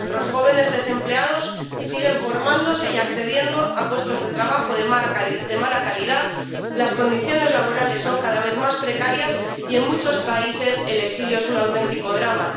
Nuestros jóvenes desempleados siguen formándose y accediendo a puestos de trabajo de mala calidad, las condiciones laborales son cada vez más precarias y en muchos países el exilio es un auténtico drama.